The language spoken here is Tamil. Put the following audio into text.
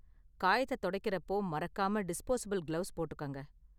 காயத்தை துடைக்கறப்போ மறக்காம டிஸ்போஸபில் கிளவுஸ் போட்டுக்கங்க.